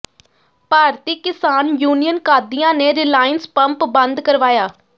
ਭਾਰਤੀ Kisan Union Qadian ਨੇ Reliance pump ਬੰਦ ਕਰਵਾਇਆ